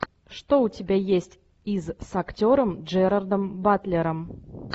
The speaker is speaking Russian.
что у тебя есть из с актером джерардом батлером